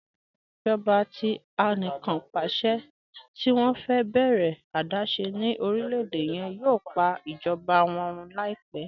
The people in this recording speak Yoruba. Ẹtọ ijọba tí àníkànpàṣẹ̀ tì wọn fẹ bẹ̀rẹ adaṣẹ̀ ni orílẹ̀-èdè yẹn yòò pà ijọba wọn rún laipẹ̀.